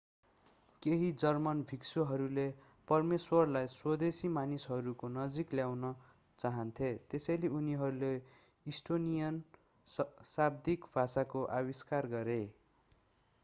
केही जर्मन भिक्षुहरूले परमेश्वरलाई स्वदेशी मानिसहरूको नजिक ल्याउन चाहन्थे त्यसैले उनीहरूले इस्टोनियन शाब्दिक भाषाको आविष्कार गरे